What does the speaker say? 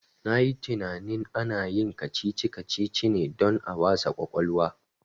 Na yi tinanin ana yin kacici kacici ne don a wasa kwakwalwa